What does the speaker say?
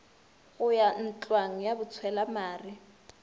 go ya ntlwang ya botshwelamare